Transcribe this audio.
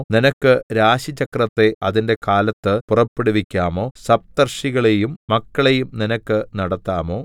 നിനക്ക് രാശിചക്രത്തെ അതിന്റെ കാലത്ത് പുറപ്പെടുവിക്കാമോ സപ്തർഷികളെയും മക്കളെയും നിനക്ക് നടത്താമോ